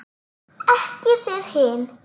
Ekki þið hin!